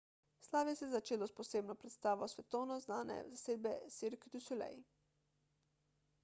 slavje se je začelo s posebno predstavo svetovno znane zasedbe cirque du soleil